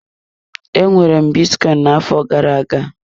Enwere m bitcoin na-afo gara-aga.